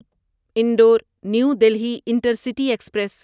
Indore new Delhi intercity express